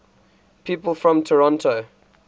people from toronto